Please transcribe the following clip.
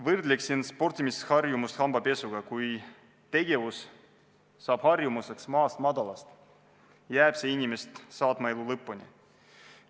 Võrdleksin sportimisharjumust hambapesuga: kui tegevus saab harjumuseks maast-madalast, jääb see inimest saatma elu lõpuni.